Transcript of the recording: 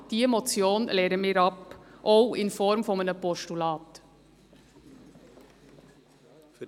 Wir lehnen diese Motion ab, auch in Form eines Postulats.